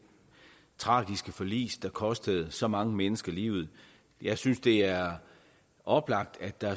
tragiske forlis der kostede så mange mennesker livet jeg synes det er oplagt at der